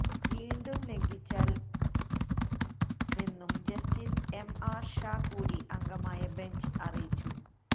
വീണ്ടും ലംഘിച്ചാല് മെന്നും ജസ്റ്റിസ് എം ആര് ഷാ കൂടി അംഗമായ ബെഞ്ച് അറിയിച്ചു